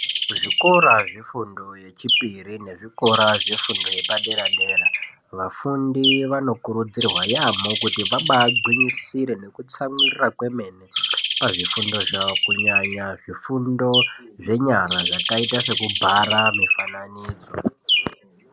Kuzvikora zvefundo yechipiri nezvikora zvefundo yepadera dera vafundi vanokurudzirwa yamho kuti vabagwinyisire nekutsamwirira kwemene pazvifundo zvawo kunyanya zvifundo zvenyara zvakaita sekubhara mifananidzo.